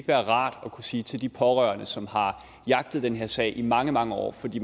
være rart at kunne sige til de pårørende som har jagtet den her sag i mange mange år fordi